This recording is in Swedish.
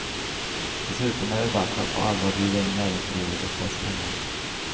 Dessutom är det dags att på allvar bjuda in näringslivet och dess pengar.